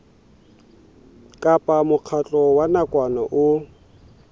kapa mokgatlo wa nakwana o